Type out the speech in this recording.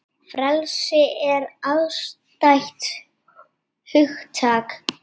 Frelsi er afstætt hugtak